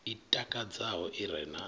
i takadzaho i re na